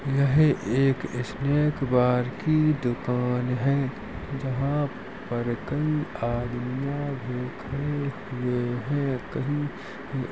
यह एक snack bar की दुकान है जहां पर कई आदमीयां भूखे हुए हैं। कही --